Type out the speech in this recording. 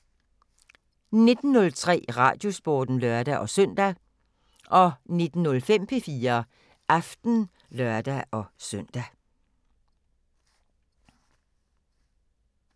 19:03: Radiosporten (lør-søn) 19:05: P4 Aften (lør-søn)